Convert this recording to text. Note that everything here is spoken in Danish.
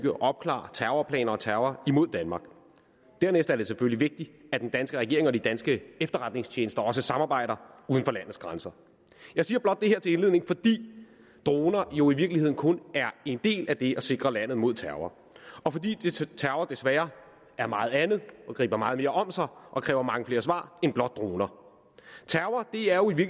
og opklare terrorplaner og terror mod danmark dernæst er det selvfølgelig vigtigt at den danske regering og de danske efterretningstjenester også samarbejder uden for landets grænser jeg siger blot det her til indledning fordi droner jo i virkeligheden kun er en del af det at sikre landet mod terror og fordi terror desværre er meget andet og griber meget mere om sig og kræver mange flere svar end blot droner terrror er jo i